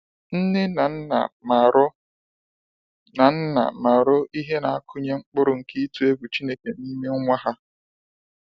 Nne na Nna marụ na Nna marụ ihe na akụnye mkpụrụ nke ịtụ egwu n'ime nwa ha.